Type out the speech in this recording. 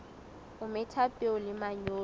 o metha peo le manyolo